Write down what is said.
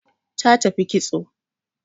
Ta tafi kitso